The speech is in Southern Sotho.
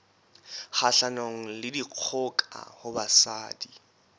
kgahlanong le dikgoka ho basadi